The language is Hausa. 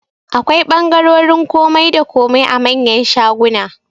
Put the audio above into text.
Akwai ɓangarorin komai da komai a manyan shaguna